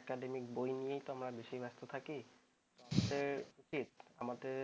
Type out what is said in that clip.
academic বই নিয়ে বেশি ব্যস্ত থাকি